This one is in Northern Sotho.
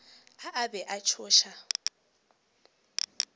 a a be a tšhoša